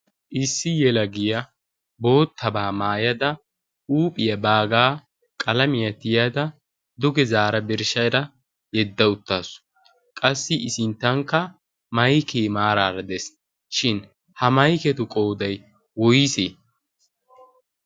Issi yelagiya boottabaa mayada huuphiya baagaa qalamiyan tiyada duge zaara birshshada yedda uttaasu. Qassi I sinttankka mayikee maaraara des. Shin ha mayiketu qoyiday woyisee?